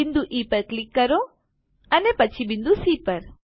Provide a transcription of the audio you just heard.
બિંદુ ઇ પર ક્લિક કરો અને પછી બિંદુ સી પર